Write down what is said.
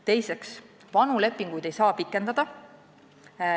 Teiseks, vanu lepinguid ei saa pikendada.